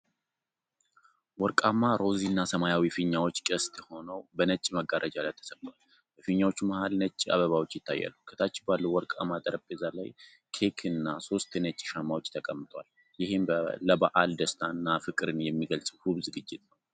ወርቃማ፣ ሮዝ እና ሰማያዊ ፊኛዎች ቅስት ሆነው በነጭ መጋረጃ ላይ ተሰቅለዋል። በፊኛዎቹ መሃል ነጭ አበባዎች ይታያሉ። ከታች ባለው ወርቃማ ጠረጴዛ ላይ ኬክ እና ሶስት ነጭ ሻማዎች ተቀምጠዋል። ይህም ለበዓል ደስታን እና ፍቅርን የሚገልጽ ውብ ዝግጅት ነው።